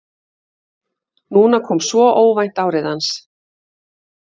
Núna kom svo óvænt árið hans.